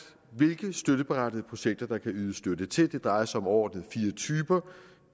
hvilke støtteberettigede projekter der kan ydes støtte til det drejer sig om overordnet fire typer